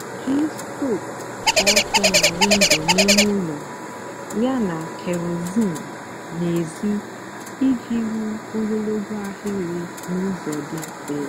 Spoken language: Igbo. jí strok kwụ ótọ nà windo n'ímé úló yáná kehoraizin n'èzí íjì hú ógologo áhịrị n'úzọ dị mfè.